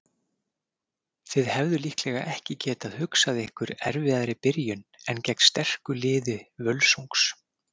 Þið hefðuð líklega ekki getað hugsað ykkur erfiðari byrjun en gegn sterku liði Völsungs?